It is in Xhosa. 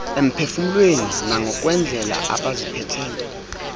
emphefumlweni nangokwendlela abaziphethe